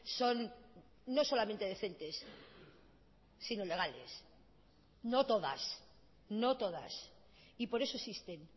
son no solamente decentes sino legales no todas no todas y por eso existen